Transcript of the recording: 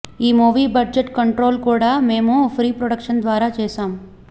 ఈ movie budget control కూడా మేము ప్రీ ప్రొడక్షన్ ద్వారా చేశాం